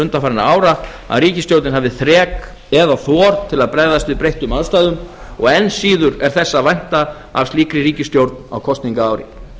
undanfarinna ára að ríkisstjórnin hafi þrek eða þor til að bregðast við breyttum aðstæðum og enn síður er þess að vænta af slíkri ríkisstjórn á kosningaári